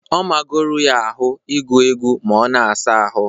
Ọ magoro ya ahụ ịgụ egwu ma ọ na-asa ahụ